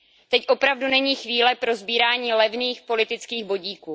Teď opravdu není chvíle pro sbírání levných politických bodíků.